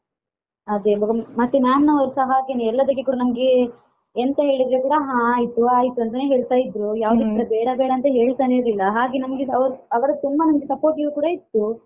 ಅದೇ ಬೊಕ್ಕ ಮತ್ತೆ ma'am ನವರುಸ ಹಾಗೇನೇ ಎಲ್ಲದಕ್ಕೆ ಕೂಡ ನಮ್ಗೆ ಎಂತ ಹೇಳಿದ್ರೆ ಕೂಡ ಹಾ ಆಯ್ತು ಆಯ್ತು ಅಂತಾನೇ ಹೇಳ್ತಾ ಇದ್ರು ಯಾವುದೂ ಕೂಡ ಬೇಡ ಬೇಡ ಅಂತ ಹೇಳ್ತಾನೆ ಇರ್ಲಿಲ್ಲ ಹಾಗೆ ನಮ್ಗೆ ಅವರು ಅವರು ತುಂಬಾ ನಮ್ಗೆ supportive ಕೂಡ ಇತ್ತು.